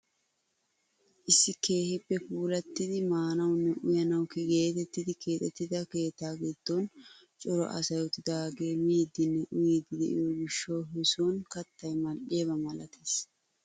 Issi keehippe puulattidi maanawunne uyanawu getettidi keexettida keettaa giddon cora asay uttidaagee miidinne uyiidi de'iyoo gishshawu he soni kattay mal"iyaaba malatees!